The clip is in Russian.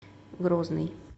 грозный